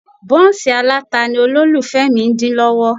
Bọ́ǹsì aláta ni olólùfẹ́ mi ń dín lọ́wọ́